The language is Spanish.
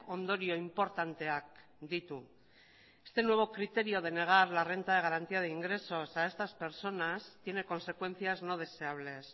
ondorio inportanteak ditu este nuevo criterio de negar la renta de garantía de ingresos a estas personas tiene consecuencias no deseables